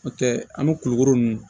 N'o tɛ an bɛ kulikoro ninnu